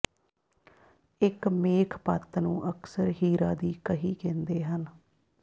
ਇਕ ਮੇਖ ਪੱਤ ਨੂੰ ਅਕਸਰ ਹੀਰਾ ਦੀ ਕਹੀ ਕਹਿੰਦੇ ਹਨ